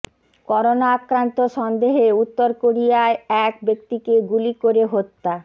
corona আক্রান্ত সন্দেহে উত্তর কোরিয়ায় এক ব্যক্তিকে গুলি করে হত্যা